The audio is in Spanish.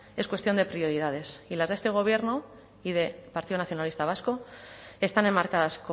es cuestión de prioridades y las de este gobierno y de partido nacionalista vasco están enmarcadas